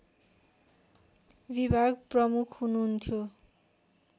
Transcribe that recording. विभाग प्रमुख हुनुहन्थ्यो